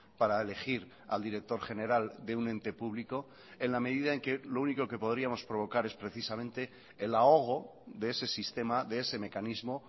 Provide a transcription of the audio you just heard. para elegir al director general de un ente público en la medida en que lo único que podríamos provocar es precisamente el ahogo de ese sistema de ese mecanismo